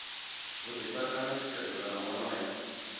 vhuḓifari kana tshutshedzo kana wonoyo